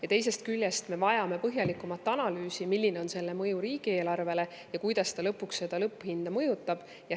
Ja teisest küljest me vajame põhjalikumat analüüsi, milline on selle mõju riigieelarvele ja kuidas ta lõpuks lõpphinda mõjutab.